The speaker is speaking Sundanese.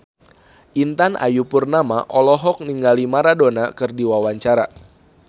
Intan Ayu Purnama olohok ningali Maradona keur diwawancara